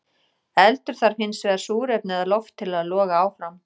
Eldur þarf hins vegar súrefni eða loft til að loga áfram.